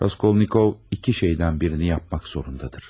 Raskolnikov iki şeydən birini yapmaq zorundadır.